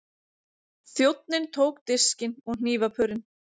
Þjónninn tók diskinn og hnífapörin.